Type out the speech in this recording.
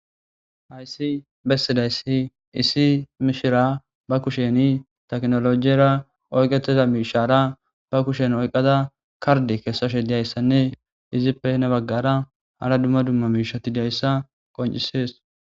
hayssi bessidayssi iisi mishira ba kusheni teknolojiyra oyqeteza miishara ba kushen oyqada karde keessashe diyayssanne izippene baggara hala dumma dumma miishati diayssa qoncisees